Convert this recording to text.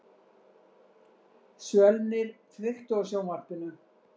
Svölnir, kveiktu á sjónvarpinu.